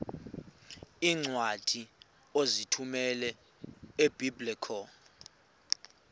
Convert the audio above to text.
iincwadi ozithumela ebiblecor